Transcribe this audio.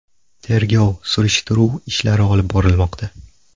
Tergov-surishtiruv ishlari olib bormoqda.